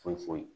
Foyi foyi foyi